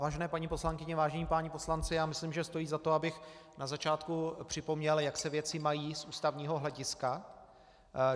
Vážené paní poslankyně, vážení páni poslanci, já myslím, že stojí za to, abych na začátku připomněl, jak se věci mají z ústavního hlediska.